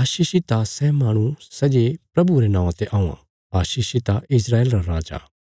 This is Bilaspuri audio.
आशीषित आ सै माहणु सै जे प्रभुये रे नौआं ते औआं आशीषित आ इस्राएल रा राजा